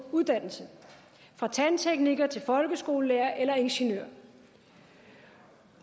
uddannelse fra tandtekniker til folkeskolelærer eller ingeniør